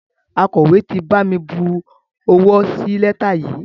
Akọ̀wé ti bami bu owó sí lẹ́tà yìí.